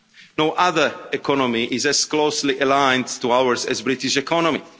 No other economy is as closely aligned to ours as the British economy.